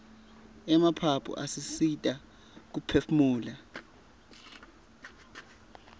emaphaphu asisita kuphefumula